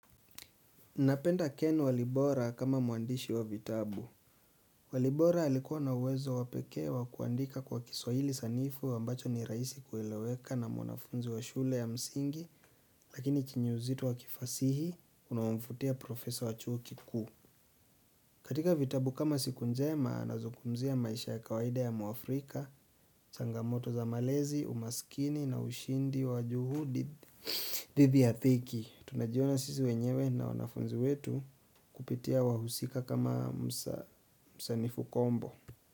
Unapenda ken walibora kama mwandishi wa vitabu. Walibora alikuwa na uwezo wa pekee wa kuandika kwa kiswahili sanifu ambacho ni rahisi kueleweka na mwanafunzi wa shule ya msingi lakini chenye uzito wa kifasihi unamfutia profesor wachuo kikuu. Katika vitabu kama siku njema na anazungumzia maisha ya kawaida ya muafrika changamoto za malezi, umaskini na ushindi wa juhudi dhidi ya dhiki. Tunajiona sisi wenyewe na wanafunzi wetu kupitia wahusika kama msanifu kombo.